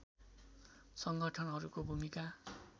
सङ्गठनहरूको भूमिका